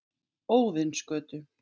Óðinsgötu